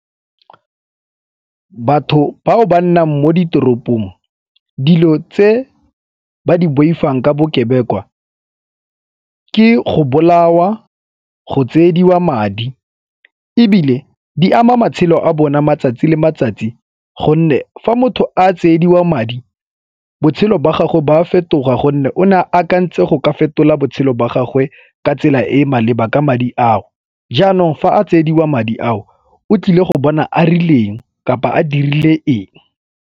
Batho bao ba nnang mo ditoropong dilo tse ba di boifang ka bokebekwa ke go bolawa, go tsiediwa madi ebile di ama matshelo a bona matsatsi le matsatsi gonne fa motho a tsiediwa madi botshelo ba gago ba a fetoga gonne o ne a akantse go ka fetola botshelo jwa gagwe ka tsela e e maleba ka madi ao. Jaanong fa a tsiediwa madi ao o tlile go bona a rileng kapa a dirile eng.